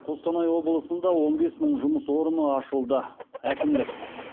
қостанай облысында он бес мың жұмыс орны ашылды әкімдік